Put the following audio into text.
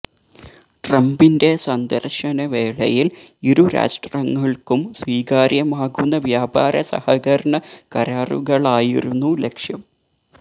ട്രംപിന്റെ സന്ദര്ശന വേളയില് ഇരു രാഷ്ട്രങ്ങള്ക്കും സ്വീകാര്യമാകുന്ന വ്യാപാര സഹകരണ കരാറുകളായിരുന്നു ലക്ഷ്യം